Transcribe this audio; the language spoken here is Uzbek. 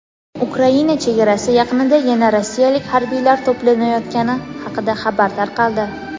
Ukraina chegarasi yaqinida yana rossiyalik harbiylar to‘planayotgani haqida xabar tarqaldi.